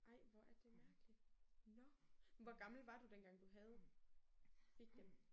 Ej hvor er det mærkeligt. Nåh. Hvor gammel var du den gang du havde dem fik dem?